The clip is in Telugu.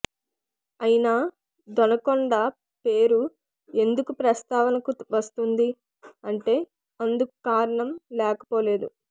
అయినా దొనకొండ పేరు ఎందుకు ప్రస్తావనకు వస్తుంది అంటే అందుకు కారణం లేకపోలేదు